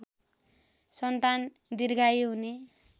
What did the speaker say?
सन्तान दीर्घायु हुने